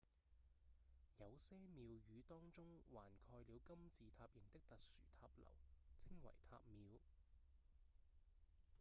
有些廟宇當中還蓋了金字塔型的特殊塔樓稱為塔廟